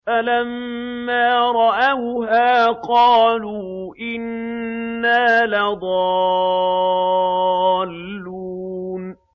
فَلَمَّا رَأَوْهَا قَالُوا إِنَّا لَضَالُّونَ